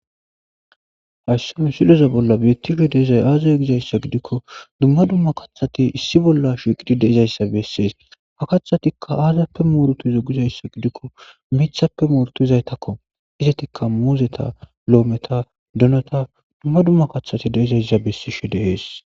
Hayssi hon siloza bolla bettisho deizay aazaza gizayssa gidikko dumma dumma kathati issi bolla shiqidi deizayssa bessees ha kathatikka aazappe muorutu zo gizayssa gidikko mithappe muorutizaytakko izetikka muuzeta lo7ometa donota dumma dumma kathati deizayssa bessisho deees